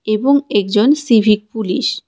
এবং একজন civic police .